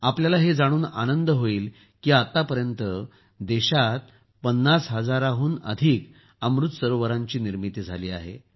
आपल्याला हे जाणून आनंद होईल की आतापर्यंत देशात ५० हजाराहून अधिक अमृत सरोवरांची निर्मिती झाली आहे